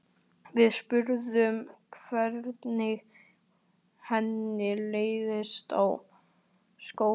Við spurðum hvernig henni litist á skólann.